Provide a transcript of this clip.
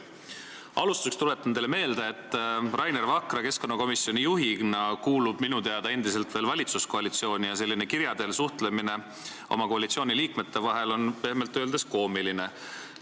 Alustuseks tuletan teile meelde, et Rainer Vakra keskkonnakomisjoni juhina kuulub minu teada endiselt veel valitsuskoalitsiooni, ja selline kirja teel suhtlemine koalitsiooni liikmete vahel on pehmelt öeldes koomiline.